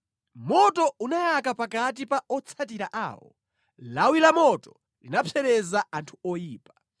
Moto unayaka pakati pa otsatira awo; lawi lamoto linapsereza anthu oyipa.